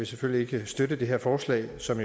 selvfølgelig ikke støtte det her forslag som